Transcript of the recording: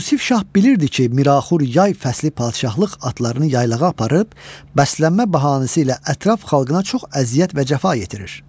Yusif şah bilirdi ki, Miraxur bu yay fəsli padşahlıq atlarını yaylağa aparıb, bəslənmə bəhanəsi ilə ətraf xalqına çox əziyyət və cəfa yetirir.